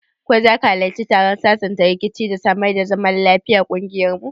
Ko zaka hallarci taron sasanta rikici da samar da zaman lafiyan kungiyar mu?